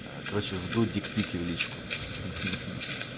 короче жду дикпики в личку